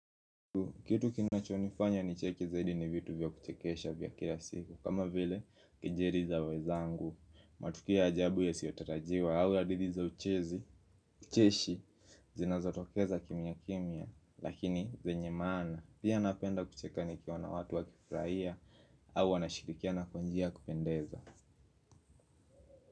Kitu kinachonifanya nicheke zaidi ni vitu vya kuchekesha vya kila siku, kama vile, kejeli za wezangu, matukio ya ajabu yasiyotarajiwa au hadithi za ucheshi zinazotokeza kimya kimya, lakini zenye maana. Pia napenda kucheka nikiona watu wakifurahia au wanashirikiana kwa njia yakupendeza.